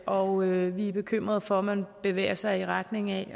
og vi er bekymrede for at man bevæger sig i retning af